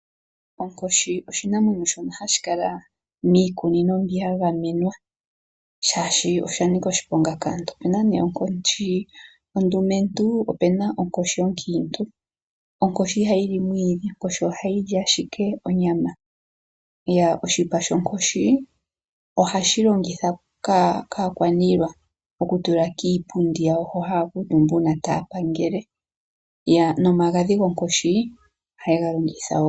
Onkoshi oshinanwenyo shono hashi kala miikunino ya gamenwa oshoka oya nika oshiponga kaantu. Opena onkoshi ondumentu noshowo onkiintu, ihayi li omwiidhionyama owala. Oshipa shonkoshi ohashi longithwa kakwaniilwa okutula kiipundi yawo uuna taya pangele nomagadhi gawo ohaye ye ga longitha wo.